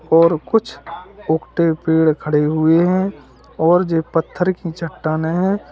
और कुछ उखठे पेड़ खड़े हुए हैं और ये पत्थर की चट्टाने है।